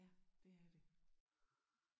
Ja det er det